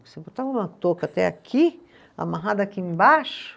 Você botava uma touca até aqui, amarrada aqui embaixo.